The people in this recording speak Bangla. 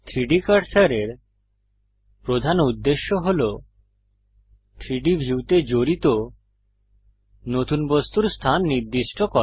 3ডি কার্সারের প্রধান উদ্দেশ্য হল 3ডি ভিউতে জড়িত নতুন বস্তুর স্থান নির্দিষ্ট করা